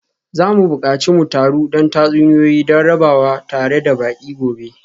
Za mu buƙaci mu taru don tatsuniyoyi don rabawa tare da baƙi gobe.